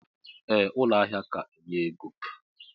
Ee ụlọ ahia ka enye ego.